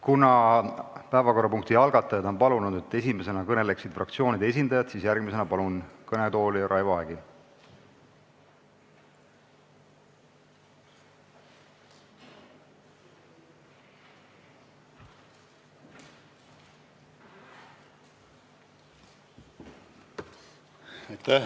Kuna päevakorrapunkti algatajad on palunud, et esimesena kõneleksid fraktsioonide esindajad, siis järgmisena palun kõnetooli Raivo Aegi!